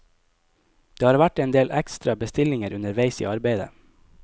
Det har vært en del ekstra bestillinger underveis i arbeidet.